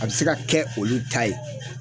A bi se ka kɛ olu ta ye